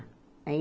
Aí